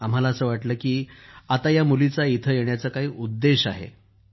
आम्हाला असं वाटलं की आता या मुलीचा इथं येण्याचा काही उद्देश आहे